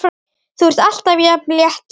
Þú ert alltaf jafn léttur!